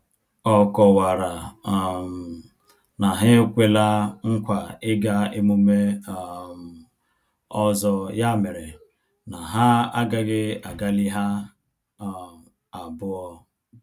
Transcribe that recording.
Ọ kọwara um na ha ekwela nkwa ịga emume um ọzọ ya mere na ha agaghị agalị ha um abụọ